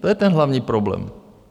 To je ten hlavní problém.